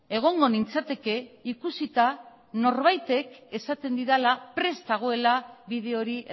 egongo nintzateke ikusita norbaitek esaten didala prest dagoela bide hori